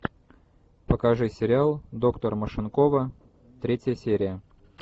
покажи сериал доктор машинкова третья серия